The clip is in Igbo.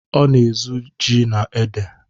Ọ na-ezu ori ji na ede.